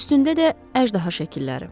Üstündə də əjdaha şəkilləri.